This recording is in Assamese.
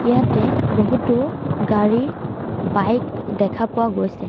ইয়াতে বহুতো গাড়ী বাইক দেখা পোৱা গৈছে।